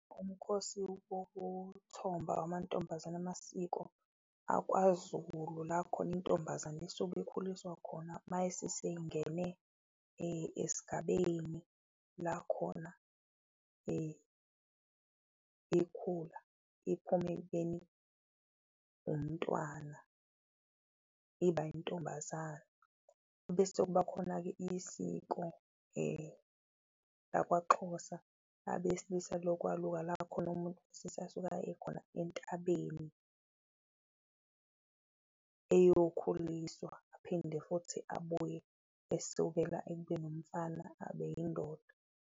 Umkhosi wokuthomba amantombazane amasiko akwaZulu la khona intombazane isuke ikhuliswa khona seyingene esigabeni, la khona ikhula iphume ekubeni umntwana iba intombazane. Ebese kuba khona-ke isiko lakwaXhosa abesilisa lokwaluka la khona umuntu khona entabeni eyokhuliswa, aphinde futhi abuye esukela ekubeni umfana abe yindoda.